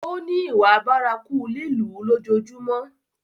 Ó ní ìwà bárakú lílù ú lójoojúmọ́.